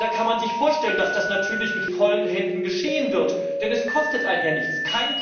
Da kann man sich vorstellen, dass das natürlich mit vollen Händen geschehen wird, denn es kostet einen ja nichts.